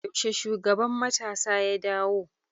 Yaushe shugaban matasa ya dawo?